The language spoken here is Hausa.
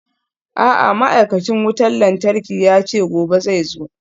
A'a ma'aikacin wutar lantarki yace gobe zai zo.